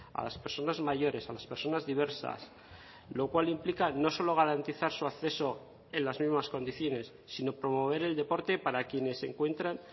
a las personas mayores a las personas diversas lo cual implica no solo garantizar su acceso en las mismas condiciones sino promover el deporte para quienes se encuentran